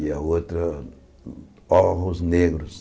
E a outra, Ojos Negros.